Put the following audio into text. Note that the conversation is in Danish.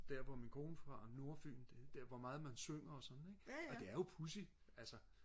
der hvor min kone er fra nordfyn hvor meget man synger og sådan ikke og det er jo pudsigt altså